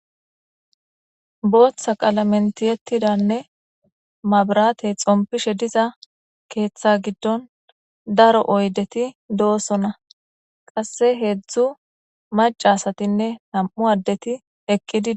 booththa qalamentiyettidanne mabratey xompishe diza keeththa giddon daro oydeti doosonna qasse heedzdzu macasatinne nam7u addeti ekqi dii